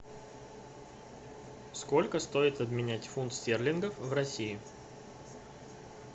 сколько стоит обменять фунт стерлингов в россии